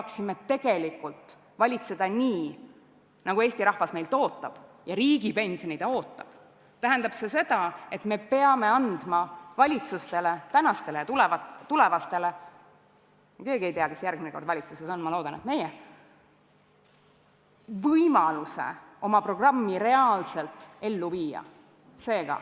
Kui ma tahame valitseda nii, nagu Eesti rahvas meilt ootab – ja riigipensioni ta ootab –, siis me peame andma valitsustele, nii praegusele kui ka tulevastele – me keegi ei tea, kes järgmine kord valitsuses on, ma loodan, et meie – võimaluse oma programmi reaalselt ellu viia.